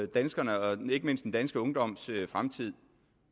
på danskernes og ikke mindst den danske ungdoms fremtid